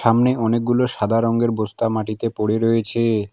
সামনে অনেকগুলো সাদা রংয়ের বস্তা মাটিতে পড়ে রয়েছে।